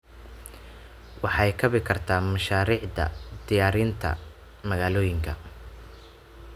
Waxay kabi kartaa mashaariicda dhiraynta magaalooyinka.